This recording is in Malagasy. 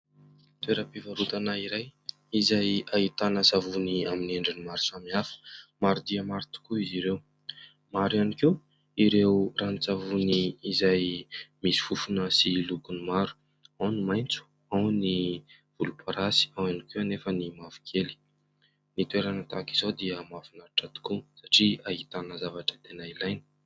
Toeram-pivarotana iray izay ahitana savony amin'ny endriny maro samy hafa: maro dia maro tokoa izy ireo, maro ihany koa ireo ranon-tsavony izay misy fofona sy lokony maro: ao ny maitso ao ny volomparasy ao ihany koa anefa ny mavo kely. Ny toerana tahaka izao dia mahafinaritra tokoa satria ahitana zavatra tena ilaina.